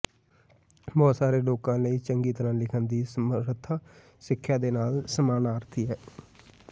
ਬਹੁਤ ਸਾਰੇ ਲੋਕਾਂ ਲਈ ਚੰਗੀ ਤਰ੍ਹਾਂ ਲਿਖਣ ਦੀ ਸਮਰੱਥਾ ਸਿੱਖਿਆ ਦੇ ਨਾਲ ਸਮਾਨਾਰਥੀ ਹੈ